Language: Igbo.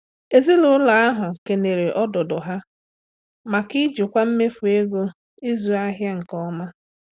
Ezinụlọ ahụ kelere ọdụdụ ha maka ijikwa mmefu ego ịzụ ahịa nke ọma.